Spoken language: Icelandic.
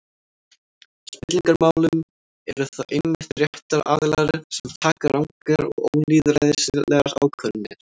Í spillingarmálum eru það einmitt réttir aðilar sem taka rangar og ólýðræðislegar ákvarðanir.